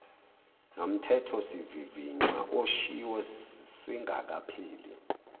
nomthethosivivinywa oshiwo singakapheli